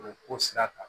O ko sira kan